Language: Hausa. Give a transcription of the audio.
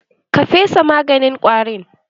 Ka fesa maganin ƙwarin?